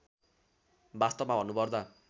वास्तवमा भन्नुपर्दा